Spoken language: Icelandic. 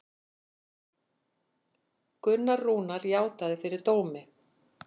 Gunnar Rúnar játaði fyrir dómi